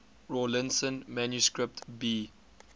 rawlinson manuscript b